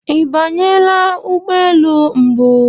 Ị banyela ụgbọ elu mbụ?